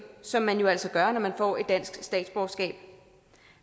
som man jo altså gør når man får et dansk statsborgerskab